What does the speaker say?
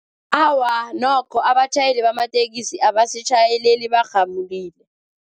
Awa, nokho abatjhayeli bamatekisi abasitjhayeleli barhamulile.